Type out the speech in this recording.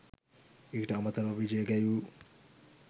ඊට අමතරව විජය ගැයූ